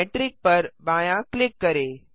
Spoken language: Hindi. मेट्रिक पर बायाँ क्लिक करें